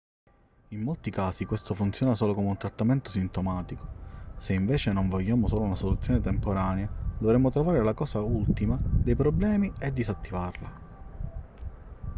in molti casi questo funziona solo come un trattamento sintomatico se invece non vogliamo solo una soluzione temporanea dovremmo trovare la causa ultima dei problemi e disattivarla